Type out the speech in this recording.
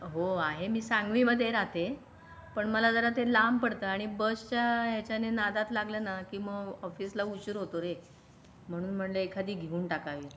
हो आहे मी सांगलीमध्ये राहते पण मला जरा ते लांब पडतं आणि बसच्या याच्याने नादात लागलं ना की मग ऑफिसला उशीर होतो रे म्हणून म्हणले एखादी घेऊन टाकावे.